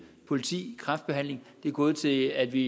politi kræftbehandling de er gået til at vi